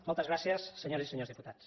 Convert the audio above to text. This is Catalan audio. moltes gràcies senyores i senyors diputats